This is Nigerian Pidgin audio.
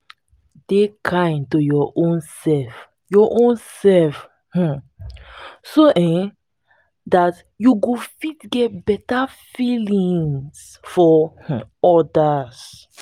dey kind to your own self own self um so um dat you go feet get better feelings for um odas